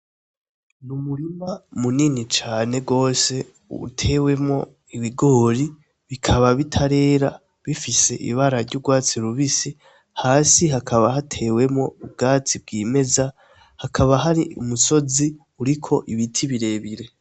Ni umurima munini cane gose utewemwo ibigori bikaba bitarera bifise ibara ry'urwatsi rubisi, hasi hakaba hatewemwo ubwatsi bwimeza, hakaba hari umusozi uriko ibiti birebire.